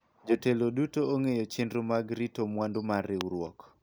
jotelo duto ong'eyo chenro mag rito mwandu mar riwruok